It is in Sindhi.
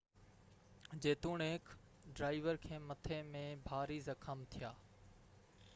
جيتوڻيڪ ڊرائيور کي مٿي ۾ ڀاري زخم ٿيا